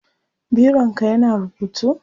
bironka ya na rubutu?